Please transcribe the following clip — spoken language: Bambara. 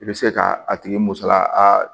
I bɛ se ka a tigi musala a